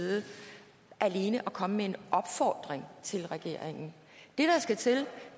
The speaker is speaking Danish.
vide alene at komme med en opfordring til regeringen det der skal til